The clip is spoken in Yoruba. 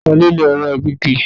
Ta ló lo ẹ̀rọ ìgégi?